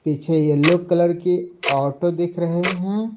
पीछे yellow colour की auto दिख रहे है।